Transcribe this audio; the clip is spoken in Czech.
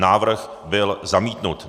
Návrh byl zamítnut.